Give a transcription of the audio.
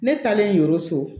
Ne taalen yoro so